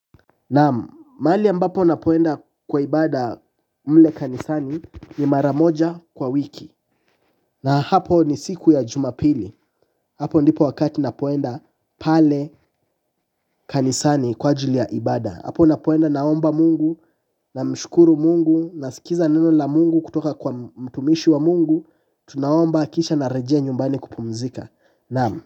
Naam, mahali ambapo napoenda kwa ibada mle kanisani ni maramoja kwa wiki. Na hapo ni siku ya jumapili. Hapo ndipo wakati napoenda pale kanisani kwa ajili ya ibada. Hapo napoenda naomba mungu, na mshukuru mungu, na sikiza neno la mungu kutoka kwa mtumishi wa mungu, tunaomba kisha narejea nyumbani kupumzika. Naamu,